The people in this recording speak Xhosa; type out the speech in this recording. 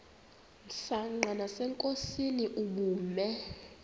msanqa nasenkosini ubume